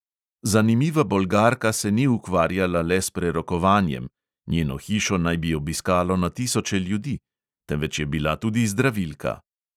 Zanimiva bolgarka se ni ukvarjala le s prerokovanjem (njeno hišo naj bi obiskalo na tisoče ljudi), temveč je bila tudi zdravilka.